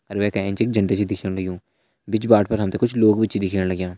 अर वै का एंच एक झंडा छ दिखेण लग्युं बिच बाट पर हम ते कुछ लोग भी छ दिखेण लग्यां।